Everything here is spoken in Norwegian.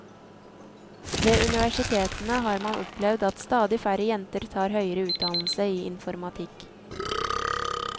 Ved universitetene har man opplevd at stadig færre jenter tar høyere utdannelse i informatikk.